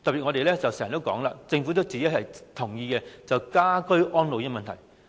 我們經常提到，而政府也同意要解決家居安老的問題。